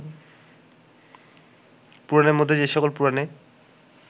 পুরাণের মধ্যে যে সকল পুরাণে